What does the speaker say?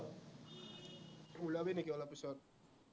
ওলাবি নেকি অলপ পিছত?